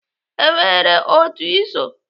E nwere otu Ị so?